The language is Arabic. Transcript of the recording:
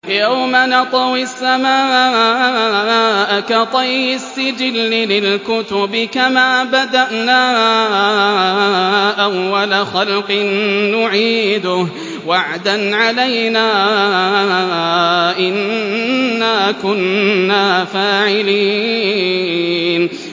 يَوْمَ نَطْوِي السَّمَاءَ كَطَيِّ السِّجِلِّ لِلْكُتُبِ ۚ كَمَا بَدَأْنَا أَوَّلَ خَلْقٍ نُّعِيدُهُ ۚ وَعْدًا عَلَيْنَا ۚ إِنَّا كُنَّا فَاعِلِينَ